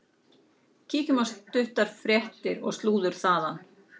Kíkjum á stuttar fréttir og slúður þaðan.